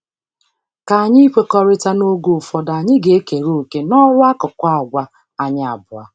K'ányi ikwekọrịta n'oge ụfọdụ anyị ga-ekere òkè n'ọrụ n'akụkụ àgwà anyị abuo?